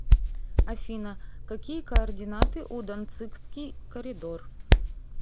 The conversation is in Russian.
афина какие координаты у данцигский коридор